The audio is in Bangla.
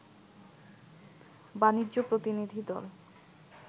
বাণিজ্য প্রতিনিধিদল